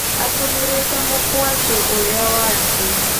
Atũmĩrĩte mũkwanjũ ũrĩa wake